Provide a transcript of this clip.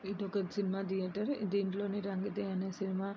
ఇది ఒక్క cinema theatre . దింట్లో నీ రంగ్ దే అని సినిమా --